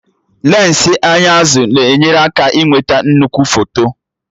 Lensị anya azụ na-enyere aka ịnweta nnukwu foto